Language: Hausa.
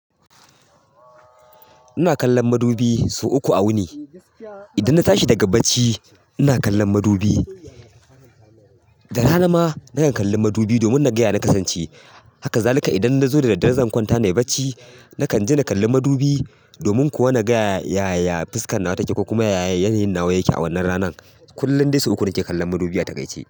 Ina kallon madubi sau uku a wuni. Idan na tashi daga bacci ina kallon madubi, da rana ma na kan kallon madubi domin na gaya na kasance. Haka zalika idan nazo da daddare zan kwanta nayi bacci, na kan je na kalli madubi domin kuwa na gaya yaya fuskan nawa take ko kuma yaya yanayin nawa yake a wannan ranan. Kullum dai sau uku nake kallon madubi a takaice.